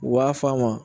U b'a f'a ma